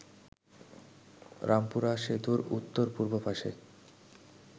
রামপুরা সেতুর উত্তর-পূর্ব পাশে